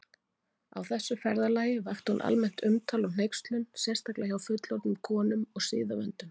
Á þessu ferðalagi vakti hún almennt umtal og hneykslun, sérstaklega hjá fullorðnum konum og siðavöndum.